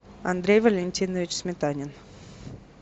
андрей валентинович сметанин